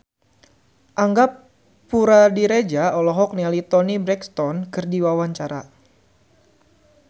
Angga Puradiredja olohok ningali Toni Brexton keur diwawancara